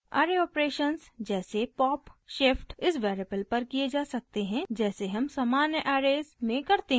array operations जैसे pop/shift इस variable पर किये जा सकते हैं जैसे हम सामान्य ऐरेज़ में करते हैं